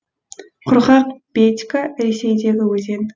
құрғақ бедька ресейдегі өзен